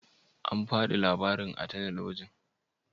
An fadi labarin a talabijin?